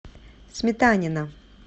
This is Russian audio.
сметанина